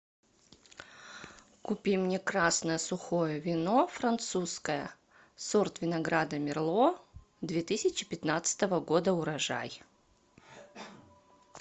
купи мне красное сухое вино французское сорт винограда мерло две тысячи пятнадцатого года урожай